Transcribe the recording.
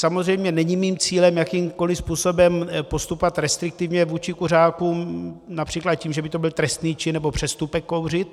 Samozřejmě není mým cílem jakýmkoli způsobem postupovat restriktivně vůči kuřákům například tím, že by to byl trestný čin nebo přestupek kouřit.